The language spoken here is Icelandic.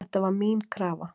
Þetta var mín krafa